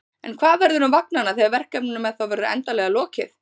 En hvað verður um vagnanna þegar verkefninu með þá verður endanlega lokið?